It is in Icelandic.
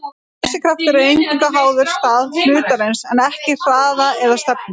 Þessi kraftur er eingöngu háður stað hlutarins en ekki hraða eða stefnu.